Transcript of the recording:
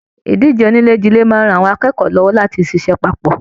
Ìdíje onílè jile máa n rán àwọn akẹ́kọ̀ọ́ lọwọ láti le ṣiṣẹ papọ.